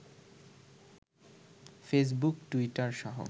Facebook, Twitter সহ